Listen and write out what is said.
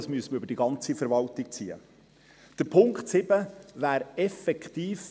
Das müsste für die ganze Verwaltung weitergezogen werden.